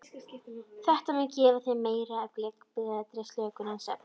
Þetta mun gefa þér meiri og betri slökun en svefn.